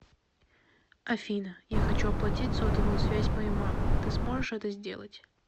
афина я хочу оплатить сотовую связь моей мамы ты сможешь это сделать